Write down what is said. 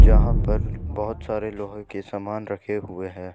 यहां पर बहुत सारे लोहे के सामान रखे हुए हैं।